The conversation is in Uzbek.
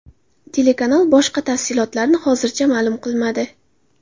Telekanal boshqa tafsilotlarni hozircha ma’lum qilmadi.